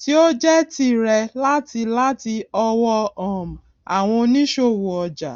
tí ó jé tirẹ láti láti ọwọ um àwọn òníṣòwò ọjà